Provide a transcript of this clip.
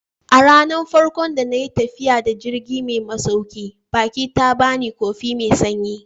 A ranar farko da na yi tafiya da jirgi mai masaukin baki ta ba ni kofi mai sanyi.